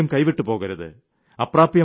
അതൊരിക്കലും കൈവിട്ടുപോകരുത്